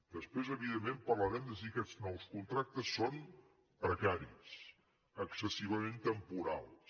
després evidentment parlarem de si aquests nous contractes són precaris excessivament temporals